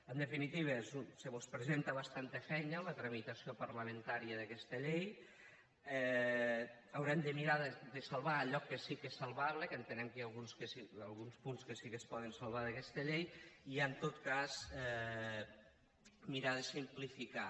en definitiva se mos presenta bastanta feina la tramitació parlamentària d’aquesta llei haurem de mirar de salvar allò que sí que és salvable que entenem que hi han alguns punts que sí que es poden salvar d’aquesta llei i en tot cas mirar de simplificar